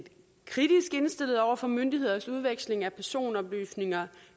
kritisk indstillet over for myndigheders udveksling af personoplysninger